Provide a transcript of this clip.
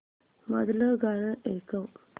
मधलं गाणं ऐकव